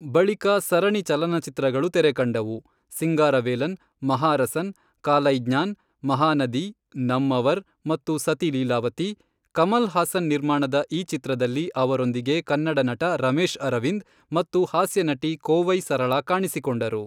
ಬಳಿಕ ಸರಣಿ ಚಲನಚಿತ್ರಗಳು ತೆರೆಕಂಡವು, ಸಿಂಗಾರವೇಲನ್, ಮಹಾರಸನ್, ಕಾಲೈಜ್ಞಾನ್, ಮಹಾನದಿ, ನಮ್ಮವರ್, ಮತ್ತು ಸತಿ ಲೀಲಾವತಿ, ಕಮಲ್ ಹಾಸನ್ ನಿರ್ಮಾಣದ ಈ ಚಿತ್ರದಲ್ಲಿ ಅವರೊಂದಿಗೆ ಕನ್ನಡ ನಟ ರಮೇಶ್ ಅರವಿಂದ್ ಮತ್ತು ಹಾಸ್ಯನಟಿ ಕೋವೈ ಸರಳಾ ಕಾಣಿಸಿಕೊಂಡರು.